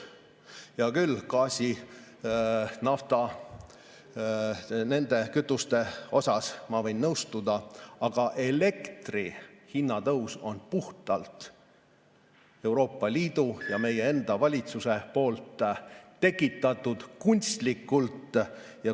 Hea küll, gaasi, nafta ja nende kütuste puhul ma võin nõustuda, aga elektri hinna tõus on puhtalt Euroopa Liidu ja meie enda valitsuse tekitatud kunstlikult.